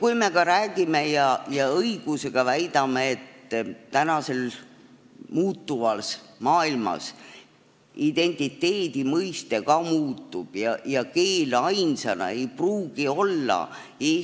Kui me ka räägime ja õigusega väidame, et tänases muutuvas maailmas identiteedi mõiste muutub ja keel ainsana ei pruugi olla – ja